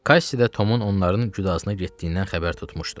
Kassi də Tomun onların güdazına getdiyindən xəbər tutmuşdu.